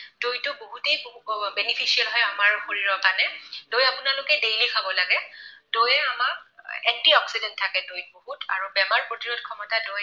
দৈ টো বহুতেই beneficial হয় আমাৰ শৰীৰৰ কাৰণে। দৈ আপোনালোকে daily খাব লাগে। দৈয়ে আমাক antioxidant থাকে দৈত আৰু বেমাৰ প্ৰতিৰোধ ক্ষমতা দৈত